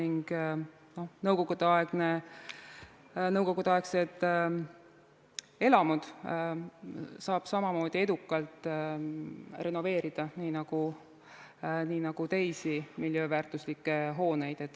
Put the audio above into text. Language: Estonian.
Nõukogudeaegseid elamuid saab samamoodi edukalt renoveerida nii nagu teisi miljööväärtuslikke hooneid.